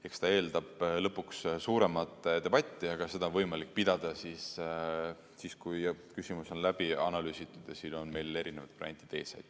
Eks see eeldab lõpuks suuremat debatti, aga seda on võimalik pidada siis, kui küsimus on läbi analüüsitud ja siin on meil erinevad variandid ees.